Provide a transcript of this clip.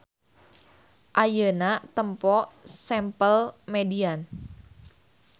Ayeuna tempo sample median.